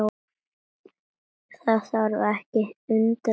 Það þarf ekki að undra.